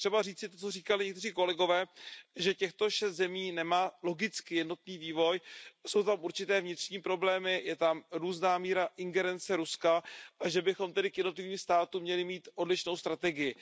Je třeba říci to, co říkali někteří kolegové, že těchto šest zemí nemá logicky jednotný vývoj jsou tam určité vnitřní problémy, je tam různá míra ingerence Ruska a že bychom tedy k jednotlivým státům měli mít odlišnou strategii.